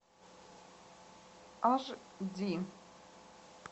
аш ди